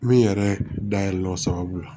Min yɛrɛ dayɛlɛla o sababu la